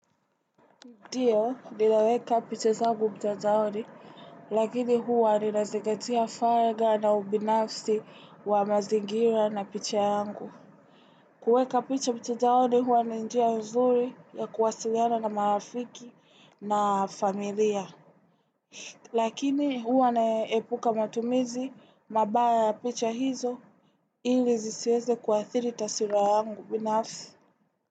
Ndiyo, ninaweka picha zangu mtandaoni, lakini huwa ninazingatia farga na ubinafsi wa mazingira na picha yangu. Kueka picha mtandaoni, huwa ni njia nzuri ya kuwasiliana na marafiki na familia. Lakini huwa naepuka matumizi, mabaya ya picha hizo, ili zisiweze kuathiri taswira yangu binafsi.